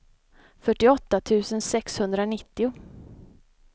fyrtioåtta tusen sexhundranittio